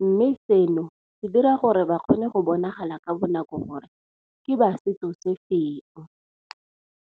Mme seno se dira gore ba kgone go bonagala ka bonako gore ke ba setso se feng.